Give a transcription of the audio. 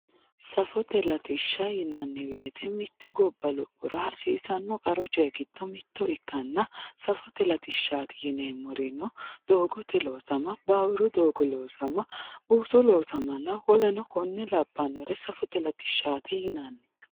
Safote latisha yinani woyite mitte gobara lopora hasisano qaru coyi gido mitto ikana safote latishati yinemorino dogote losama bawuru dogo losama busu losamanna woluri kore lawanori safite latishati yinani